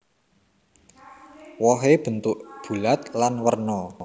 Wohé bentuk bulat lan werna